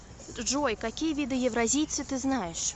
джой какие виды евразийцы ты знаешь